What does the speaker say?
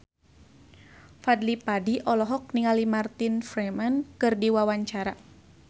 Fadly Padi olohok ningali Martin Freeman keur diwawancara